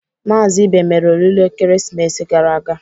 Maazị Ibe mere oriri ekeresimesi gara aga.